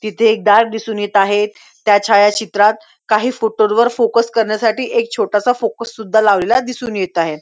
तिथे एक दाग दिसून येत आहे त्या छायाचित्रात काही फोटो वर फोकस करण्यासाठी एक छोटासा फोकस सुद्धा लावलेला दिसून येत आहे.